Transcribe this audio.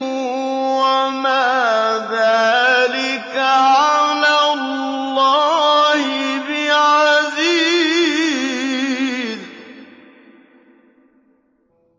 وَمَا ذَٰلِكَ عَلَى اللَّهِ بِعَزِيزٍ